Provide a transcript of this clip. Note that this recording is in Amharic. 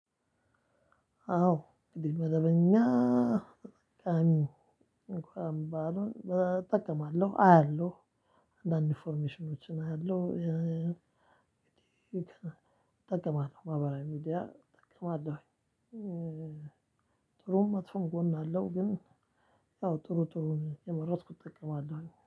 አዎ። እንግዲህ መደበኛ ተጠቃሚ እንኳ ባልሆን እጠቀማለሁ፣ አያለሁ፣ አንዳንድ ኢንፎርሜሽኖችን አያለሁ፣ እጠቀማለሁ ማህበራዊ ሚዲያ እጠቀማለሁኝ። ጥሩም መጥፎም ጎን አለው። ግን ያው ጥሩ ጥሩውን እየመረጥኩ እጠቀማለሁኝ።